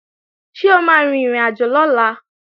Ṣé o máa rin ìrìnàjò lọ́la?